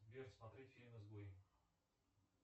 сбер смотреть фильм изгой